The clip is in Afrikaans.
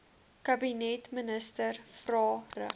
kabinetministers vrae rig